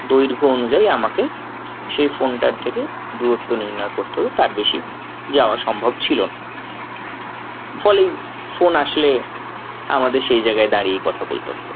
দৈঘ্য অনুযায়ী আমাকে সেই phone টার থেকে দূরত্ব নির্ণয় করতে হতো তার বেশি যাওয়া সম্ভব ছিল না। ফলে phone আসলে আমাদের সেই জায়গায় দাঁড়িয়ে কথা বলতে হতো।